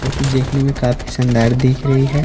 जोकि देखने में काफी शानदार दिख रही है।